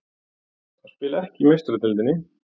Að spila ekki í Meistaradeildinni?